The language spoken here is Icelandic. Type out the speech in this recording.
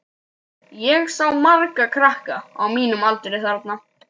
Ég sá marga krakka á mínum aldri þarna.